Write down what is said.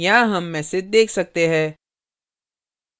यहाँ हम messages देख सकते है